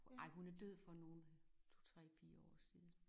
Ej hun er død for nogen 2 3 4 år siden